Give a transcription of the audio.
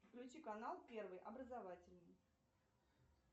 включи канал первый образовательный